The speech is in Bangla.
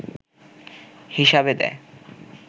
হিসাবে দেয়